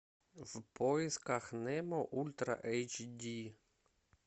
в поисках немо ультра эйч ди